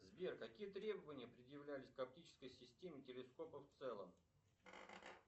сбер какие требования предъявлялись к оптической системе телескопа в целом